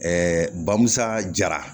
bamusa jara